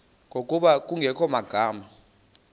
ngokuba kungekho magama